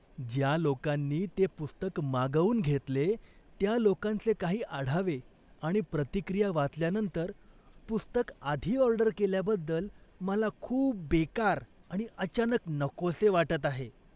ज्या लोकांनी ते पुस्तक मागवून घेतले त्या लोकांचे काही आढावे आणि प्रतिक्रिया वाचल्यानंतर, पुस्तक आधी ऑर्डर केल्याबद्दल मला खूप बेकार आणि अचानक नकोसे वाटत आहे.